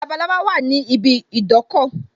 Labalábá wà ní ibi idọ́kọ̀